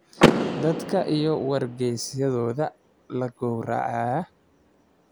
Dadka iyo wargaysyadooda la gowraco.